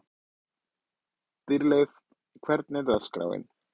Dýrleif, hvernig er dagskráin?